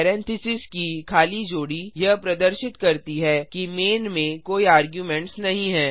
parentheses brackets की खाली जोड़ी यह प्रदर्शित करती है कि मैन में कोई आर्गुमेंट्स नहीं है